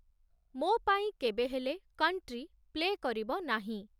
ମୋ ପାଇଁ କେବେ ହେଲେ କଣ୍ଟ୍ରି ପ୍ଲେ କରିବ ନାହିଁ